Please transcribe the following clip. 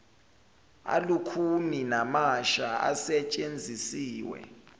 alukhuni namasha asetshenzisiwe